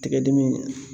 Tigɛ dimi